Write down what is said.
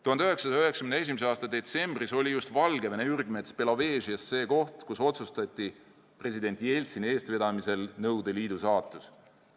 1991. aasta detsembris oli just Valgevene ürgmets Belovežjes see koht, kus otsustati president Jeltsini eestvedamisel Nõukogude Liidu saatus.